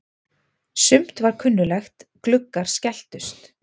Sumt var kunnuglegt: Gluggar skelltust.